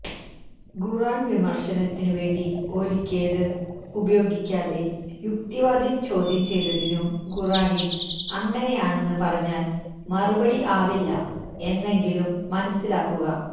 ഖുര്ആന് വിമര്ശനത്തിനു വേദി ഒരുക്കിയത് ഉപയോഗിക്കാതെ യുക്തിവാദം ചോദ്യം ചെയ്തതിനു ഖുര്ആനില് അങ്ങനെയാണെന്ന് പറഞ്ഞാല് മറുപടി ആവില്ല എന്നെങ്കിലും മനസ്സിലാക്കുക